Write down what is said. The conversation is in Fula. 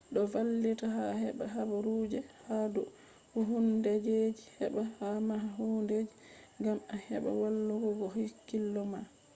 do vallita a heba haburuje ha dou hundedeji heba a maha hundeji gam a heba wallul go hakkilo ma